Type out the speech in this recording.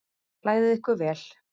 Klæðið ykkur vel.